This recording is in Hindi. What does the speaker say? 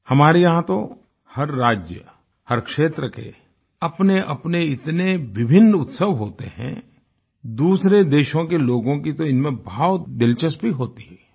हमारे यहाँ तो हर राज्य हर क्षेत्र के अपनेअपने इतने विभिन्न उत्सव होते हैं दूसरे देशों के लोगों की तो इनमें बहुत दिलचस्पी होती है